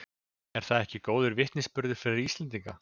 Er það ekki góður vitnisburður fyrir Íslendinga?